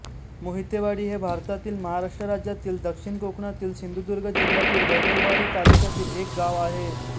मोहितेवाडी हे भारतातील महाराष्ट्र राज्यातील दक्षिण कोकणातील सिंधुदुर्ग जिल्ह्यातील वैभववाडी तालुक्यातील एक गाव आहे